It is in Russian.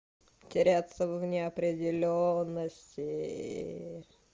теряться в неопределённости